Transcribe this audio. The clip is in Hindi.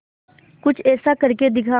कुछ ऐसा करके दिखा